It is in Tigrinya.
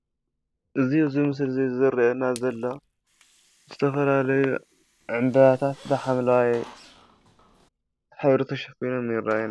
እዚ ኣብዚ ምስሊ ዝረየና ዘሎ ዝተፋላለዩ ዕምበባታት ብሓምላዋይ ሕብሪ ተሸፊኖም ይራዩና።